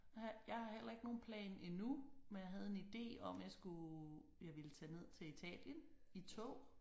Jeg har jeg har heller ikke nogen plan endnu men jeg havde en ide om jeg skulle jeg ville tage ned til Italien i tog